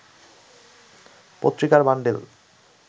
পত্রিকার বান্ডিল